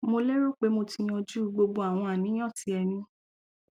mo lérò pé mo ti yanjú gbogbo àwọn àníyàn tí ẹ ní